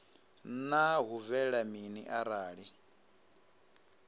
naa hu bvelela mini arali